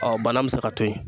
bana mi se ka to ye